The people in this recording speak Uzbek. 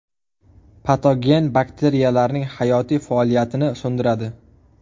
Patogen bakteriyalarning hayotiy faoliyatini so‘ndiradi.